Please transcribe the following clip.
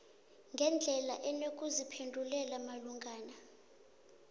ngendlela enokuziphendulela malungana